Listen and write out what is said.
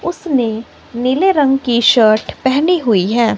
उसने नीले रंग की शर्ट पहनी हुई है।